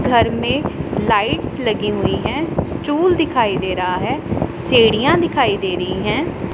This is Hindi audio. घर में लाइट्स लगी हुईं हैं स्टूल दिखाई दे रहा हैं सीढ़ियां दिखाई दे रही हैं।